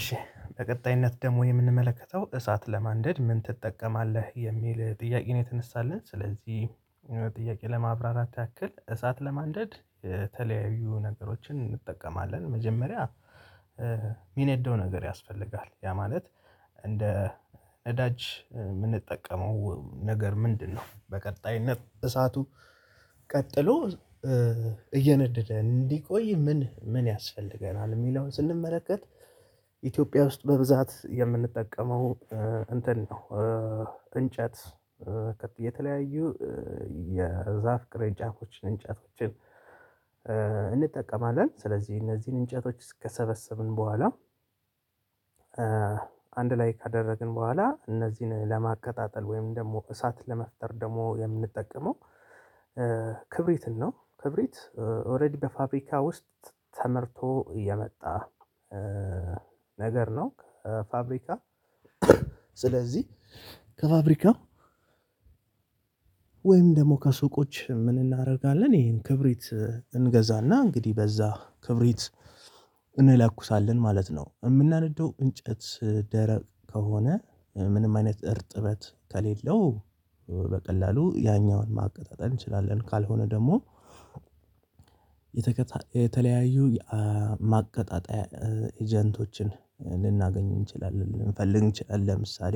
እሺ በቀጣይነት ደግሞ የምንመለከተው እሳት ለማንደድ ምን ትጠቀማለህ? የሚል ጥያቄ ነው የተነሳልን ስለዚህ ጥያቄ ለማብራራት ያክል እሳት ለማንደድ የተለያዩ ነገሮችን እንጠቀማለን መጀመሪያ የሚነደው ነገር ያስፈልጋል ያ ማለት እንደ ነዳጅ የምንጠቀመው ነገር ምንድነው በቀጣይነት እሳቱ ቀጥሎ እየነደደ እንዲቆይ ምን ምን ያስፈልገናል የሚለውን ስንመለከት ኢትዮጵያ ውስጥ በብዛት የምንጠቀመው እንትን ነው እንጨት የተለያዩ የዛፍ ቅሬንጫፎችን እንጨቶችን እንጠቀማለን ስለዚህ እነዚህን እንጨቶች እስ ከሰበሰብን በኋላ አንድ ላይክ ካደረግን በኋላ እነዚህን ለማቀጣጠል ወይም ደግሞ እሳት ለመፍጠር ደግሞ የምንጠቀመው ነው ክብሪት ኦሬዲ በፋብሪካ ውስጥ ተመርቶ እየመጣ ነገር ነው ፋብሪካ ስለዚህ ከፋብሪካ ወይም ደግሞ ከሱቆች ምን እናደርጋለን ይሄን ክብሪት እንገዛና እንግዲህ በዛ ክብሪት እንለኩሳለን ማለት ነው የምናነደው እንጨት ደረቅ ከሆነ ምንም አይነት እርጥበት ከሌለው በቀላሉ ያኛውን ማቀጣጠል እንችላለን ካልሆነ ደግሞ የተከታየ የተለያዩ የማቀጣጠያ ኤጀንቶችን ልናገኝ እንችላለን ልንፈልግ እንችላለን ለምሳሌ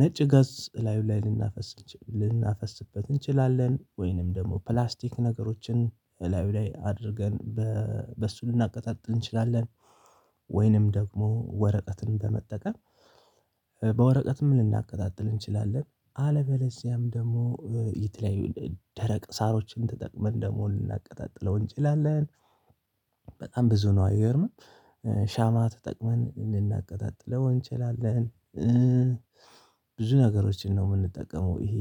ነጭ ጋዝ ላይ ላይ ልናፈስበት እንችላለን ወይንም ደግሞ ፕላስቲክ ነገሮችን እላዩ ላይ አድርገን በሱ ልናቀጣጥ እንችላለን ወይንም ደግሞ ወረቀትን በመጠቀም በወረቀትም ልናቀጣጥል እንችላለን አለበለዚያም ደግሞ የተለያዩ ደረቅ ሳሮችን ተጠቅመን ደግሞ ልናቀጣጥለው እንችላለን በጣም ብዙ ነው አየርን ሻማ ተጠቅመን ልናቀጣጥለው እንችላለን ብዙ ነገሮችን ነው የምንጠቀመው ይሄ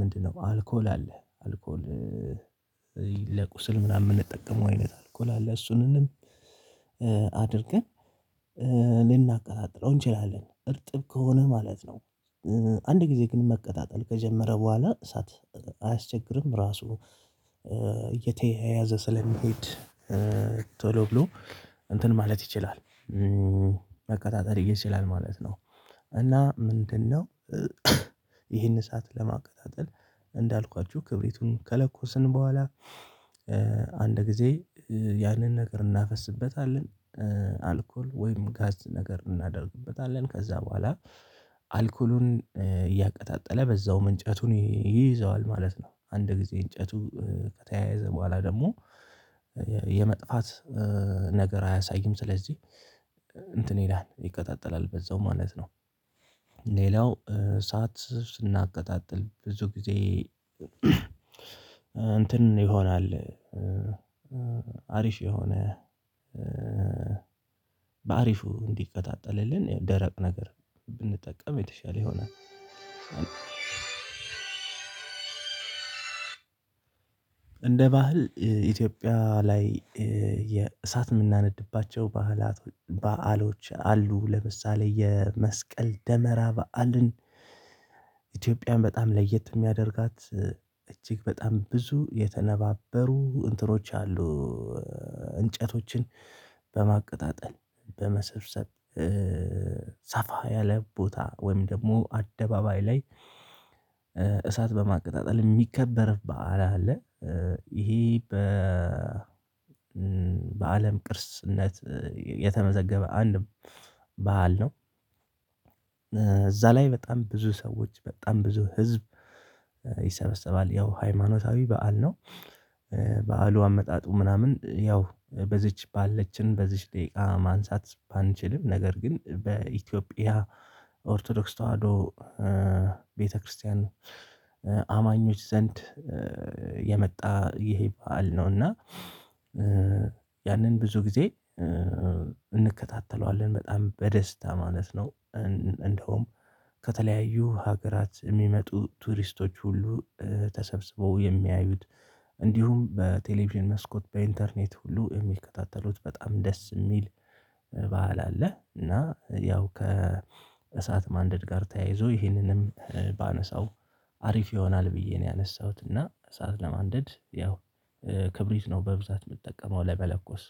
ምንድነው አልኮል አለ አልኮል ለቁስል ምናምን የምንጠቀመው አይነት አልኮል አለ እሱንም አድርገን ልናቀጥለው እንችላለን። እርጥብ ከሆነ ማለት ነው። አንድ ጊዜ ግን መቀጣጠል ከጀመረ በኋላ እሳት አያስቸግርም ራሱ እየተያያዘ ስለሚሄድ ቶሎ ብሎ እንትን ማለት ይችላል። መቀጣጠል ይችላል ማለት ነው። እና ምንድነው ይህን እሳት ለማቀጣጠል እንዳልኳችሁ ክብሪቱን ከለኮስን በኋላ አንድ ጊዜ ያንን ነገር እናፈስበታለን አልኮል ወይም ጋዝ ነገር እናደርግበታለን ከዛ በኋላ አልኮሉን እያቀጣጠለ በዛውም እንጨቱን ይይዘዋል ማለት ነው አንድ ጊዜ እንጨቱ ከተያያዘ በኋላ ደግሞ የመጥፋት ነገር አያሳይም ስለዚህ እንትን ይላል ይቀጣጠላል በዛው ማለት ነው ሌላው እሳት ስናቀጣጥል ብዙ ጊዜ እንትን ይሆናል። አሪፍ የሆነ በአሪፉ እንዲቀጣጠልልን ደረቅ ነገር ብንጠቀም የተሻለ ይሆናል እንደ ባህል ኢትዮጵያ ላይ የእሳት የምናነድባቸው ባህላት በዓሎች አሉ። ለምሳሌ የመስቀል ደመራ በዓልን ኢትዮጵያን በጣም ለየት የሚያደርጋት እጅግ በጣም ብዙ የተነባበሩ እንትኖች አሉ እንጨቶችን በማቀጣጠል በመሰብሰብ ሰፋ ያለ ቦታ ወይም ደግሞ አደባባይ ላይ እሳት በማቀጣጠል የሚከበር በዓላ አለ ይሄ በ በአለም ቅርስነት የተመዘገበ አንድም ባህል ነው እዛ ላይ በጣም ብዙ ሰዎች በጣም ብዙ ህዝብ ይሰበሰባል ያው ሃይማኖታዊ በዓል ነው በዓሉ አመጣጡ ምናምን ያው በዚች ባለችን በዚች ደቂቃ ማንሳት ባንችልም ነገር ግን በኢትዮጵያ ኦርቶዶክስ ተዋህዶ ቤተክርስቲያን አማኞች ዘንድ የመጣ በዓል ነው እና ያንን ብዙ ጊዜ እንከታተለዋለን በጣም በደስታ ማለት ነው እንደውም ከተለያዩ ሀገራት የሚመጡ ቱሪስቶች ሁሉ ተሰብስበው የሚያዩት እንዲሁም በቴሌቪዥን መስኮት በኢንተርኔት ሁሉ የሚከታተሉት በጣም ደስ የሚል በዓል አለ እና ያው ከእሳት ማንደድ ጋር ተያይዞ ይህንንም ባነሳው አሪፍ ይሆናል ብዬ ነው ያነሳሁት እና እሳት ለማንደድ ያው ክብሪት ነው በብዛት የምጠቀመው ለመለኮስ